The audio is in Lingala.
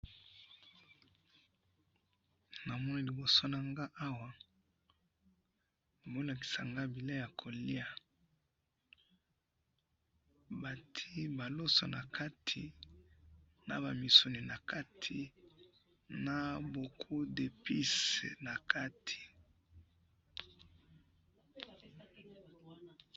Na moni liboso na nga awa, bazo lakisa nga biloko ya ko liya, bati ba loso na kati na ba misuni nakati na beaucoup d'epice na kati.